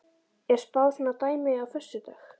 Er spáð svona dæmi á föstudag?